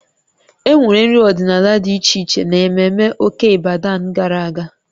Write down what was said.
E nwere nri ọdịnala dị iche iche n'ememme Oke Ibadan gara aga